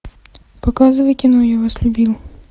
показывай кино я вас любил